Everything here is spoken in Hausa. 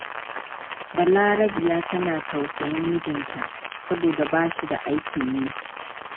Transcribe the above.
Balarabiya tana tausayin mijnta, saboda ba shi da aikin yi.